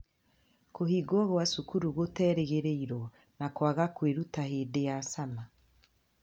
Kũhingwo kwa cukuru gũterĩgĩrĩrwo, na kwaga kwiruta hindi ya Summer.